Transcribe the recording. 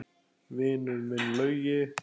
Vinur minn Laugi!